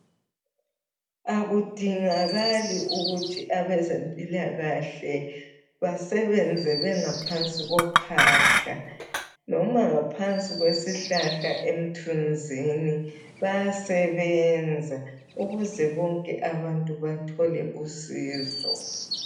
Akudingakali ukuthi abezempilakahle basebenze bengaphansi kophahla ,noma ngaphansi kwesihlahla emthunzini bayasebenza ukuze bonke abantu bathole usizo.